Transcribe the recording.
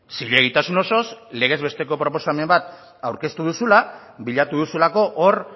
zilegitasun osoz legez besteko proposamen bat aurkeztu duzula bilatu duzulako hor